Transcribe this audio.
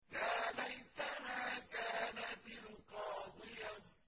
يَا لَيْتَهَا كَانَتِ الْقَاضِيَةَ